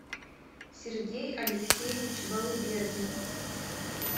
сергей алексеевич балыбердин